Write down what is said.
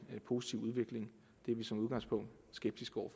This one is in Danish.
positiv udvikling det er vi som udgangspunkt skeptiske over